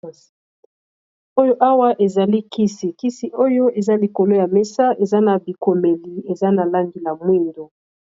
oyo awa eza li kisi kisi oyo eza likolo ya mesa eza na bikomeli eza na langi la mwindo